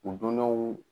U donnenw